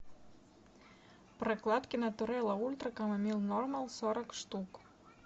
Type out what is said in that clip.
прокладки натурелла ультра камомилл нормал сорок штук